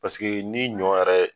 Paseke ni ɲɔ yɛrɛ ye